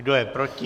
Kdo je proti?